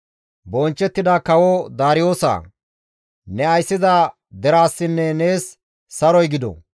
«Bonchchettida kawo Daariyoosa! Ne ayssiza deraasinne nees saroy gido;